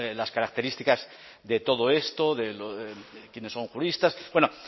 las características de todo esto quiénes son juristas bueno